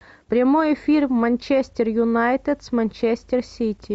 прямой эфир манчестер юнайтед с манчестер сити